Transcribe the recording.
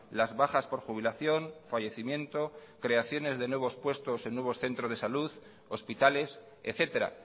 las bajas por jubilación fallecimiento creaciones de nuevos puestos en nuevos centros de salud hospitales etcétera